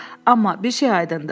Amma bir şey aydındır.